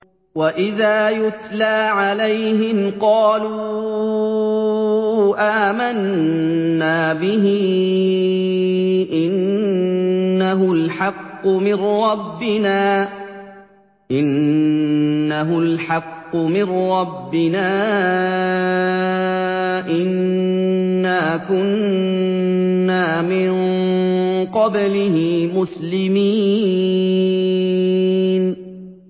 وَإِذَا يُتْلَىٰ عَلَيْهِمْ قَالُوا آمَنَّا بِهِ إِنَّهُ الْحَقُّ مِن رَّبِّنَا إِنَّا كُنَّا مِن قَبْلِهِ مُسْلِمِينَ